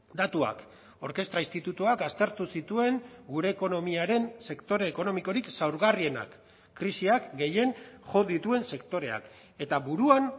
datuak orkestra institutuak aztertu zituen gure ekonomiaren sektore ekonomikorik zaurgarrienak krisiak gehien jo dituen sektoreak eta buruan